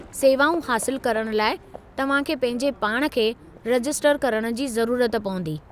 सेवाऊं हासिलु करण लाइ तव्हां खे पंहिंजे पाण खे रजिस्टर करण जी ज़रूरत पवंदी।